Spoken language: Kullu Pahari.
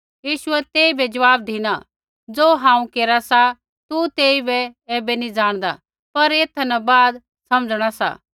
यीशुऐ तेइबै ज़वाब धिना ज़ो हांऊँ केरा सा तू तेइबै ऐबै नी जाणदा पर एथा न बाद समझणा सा